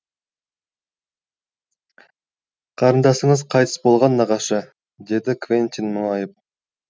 қарындасыңыз қайтыс болған нағашы деді квентин мұңайып